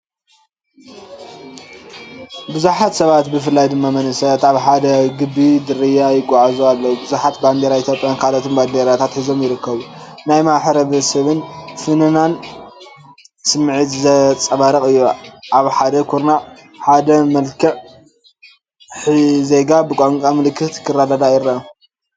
ብዙሓት ሰባት ብፍላይ ድማ መንእሰያት ኣብ ሓደ ዓቢ ጽርግያ ይጓዓዙ ኣለዉ። ብዙሓት ባንዴራ ኢትዮጵያን ካልኦት ባንዴራታትን ሒዞም ይርከቡ። ናይ ማሕበረሰብን ፍናንን ስምዒት ዘንጸባርቕ እዩ። ኣብ ሓደ ኩርናዕ፡ ሓደ መልህቕ ዜና ብቋንቋ ምልክት ክረዳዳእ ይርአ።